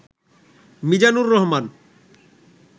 Mizanur Rahman